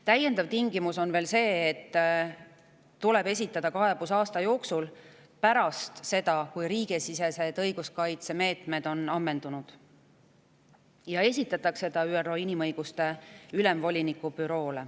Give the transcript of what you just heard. Täiendav tingimus on veel see, et kaebus tuleb esitada ÜRO Inimõiguste Ülemvoliniku Büroole aasta jooksul pärast seda, kui riigisisesed õiguskaitsemeetmed on ammendunud.